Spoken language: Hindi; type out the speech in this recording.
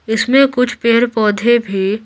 इसमें कुछ पेड़-पौधे भी --